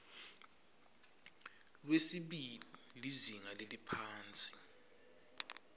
lwesibili lizinga leliphansi